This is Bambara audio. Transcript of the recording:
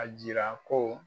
A jira ko